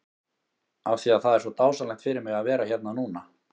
Af því að það er svo dásamlegt fyrir mig að vera hérna núna?